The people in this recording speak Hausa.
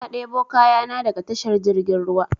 Na debo kayan na daga tashar jirgin ruwa